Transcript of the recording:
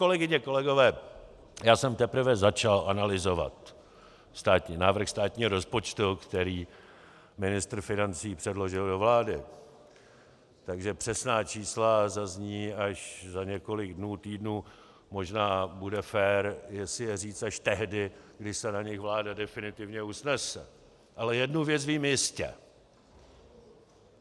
Kolegyně, kolegové, já jsem teprve začal analyzovat návrh státního rozpočtu, který ministr financí předložil do vlády, takže přesná čísla zazní až za několik dnů, týdnů, možná bude fér, jestli je říct až tehdy, když se na nich vláda definitivně usnese, ale jednu věc vím jistě.